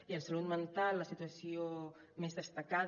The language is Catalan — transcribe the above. i en salut mental la situació més destacada